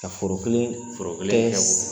Ka foro kelen foro